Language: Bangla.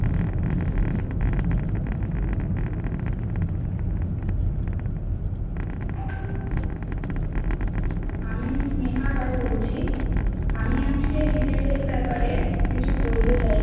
আমি স্নেহা রায় বলছি, আমি আজকে retail এর ব্যাপারে কিছু বলতে চাই।